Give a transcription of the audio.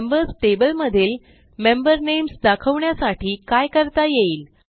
members table मधील member names दाखवण्यासाठी काय करता येईल